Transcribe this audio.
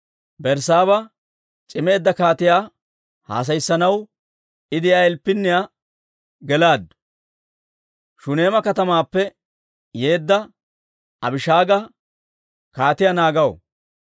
Berssaaba c'imeedda kaatiyaa haasayissanaw I de'iyaa ilppinniyaa gelaaddu; Shuneema katamaappe yeedda Abishaaga kaatiyaa naaganaw.